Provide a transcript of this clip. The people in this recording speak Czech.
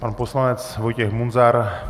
Pan poslanec Vojtěch Munzar.